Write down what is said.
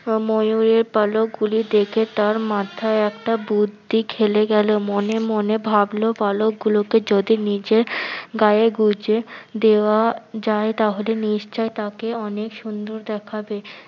আহ ময়ূরের পালকগুলো দেখে তার মাথায় একটা বুদ্ধি খেলে গেলো। মনে মনে ভাবলো পালক গুলোকে যদি নিজের গায়ে গুঁজে দেয়া যায় তাহলে নিশ্চই তাকে অনেক সুন্দর দেখাবে।